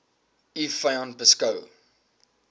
u vyand beskou